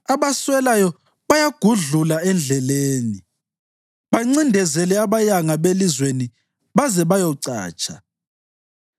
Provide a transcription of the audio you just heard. Abaswelayo bayabagudlula endleleni bancindezele abayanga belizweni baze bayocatsha.